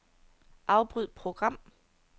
Afbryd program.